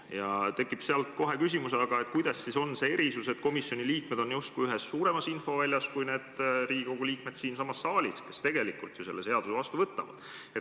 Sealt tekib aga kohe küsimus, kuidas see erisus siis on, sest komisjoni liikmed on justkui suuremas infoväljas kui Riigikogu liikmed siinsamas saalis, kes tegelikult selle seaduse vastu võtavad.